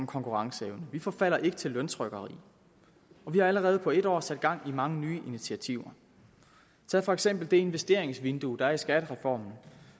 konkurrenceevne vi forfalder ikke til løntrykkeri og vi har allerede på et år sat gang i mange nye initiativer tag for eksempel det investeringsvindue der er i skattereformen og